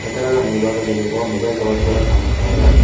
ಕಟ್ಟಡದ ಮೆಲ್ಬಾಗದಲ್ಲಿರುವ mobile tower ಕೂಡ ಕಾಣಸ್ತಾ ಇದೆ.